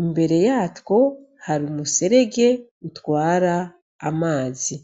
imbere yatwo hari umuserege utwara amazi.